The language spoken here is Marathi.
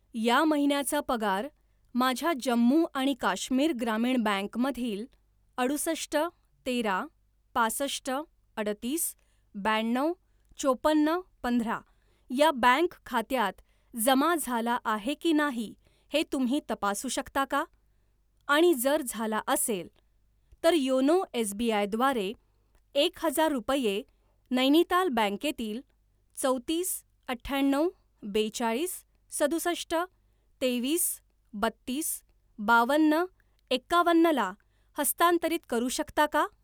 या महिन्याचा पगार माझ्या जम्मू आणि काश्मीर ग्रामीण बँक मधील अडुसष्ट तेरा पासष्ट अडतीस ब्याण्णव चोपन्न पंधरा या बँक खात्यात जमा झाला आहे की नाही हे तुम्ही तपासू शकता का आणि जर झाला असेल, तर योनो एसबीआय द्वारे एक हजार रुपये नैनिताल बँके तील चौतीस अठ्याण्णव बेचाळीस सदुसष्ट तेवीस बत्तीस बावन्न एकावन्न ला हस्तांतरित करू शकता का?